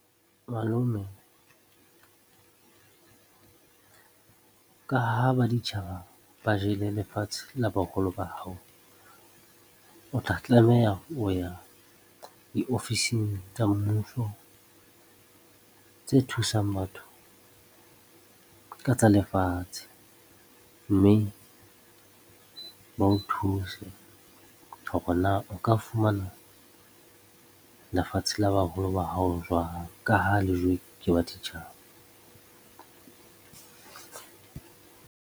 Malome, ka ha baditjhaba ba jele lefatshe la boholo ba hao, o tla tlameha ho ya diofising tsa mmuso tse thusang batho ka tsa lefatshe, mme ba o thuse hore na o ka fumana lefatshe la baholo ba hao jwang ka ha le jowe ka baditjhaba.